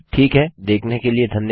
ठीक है देखने के लिए धन्यवाद